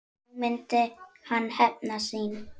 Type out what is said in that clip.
Nú myndi hann hefna sín.